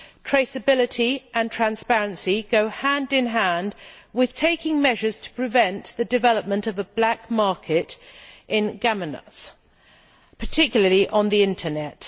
Traceability and transparency go hand in hand with taking measures to prevent the development of a black market in gametes, particularly on the internet.